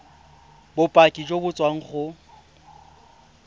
bopaki jo bo tswang go